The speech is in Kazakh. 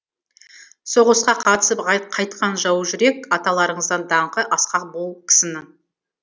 соғысқа қатысып қайтқан жаужүрек аталарыңыздан даңқы асқақ бұл кісінің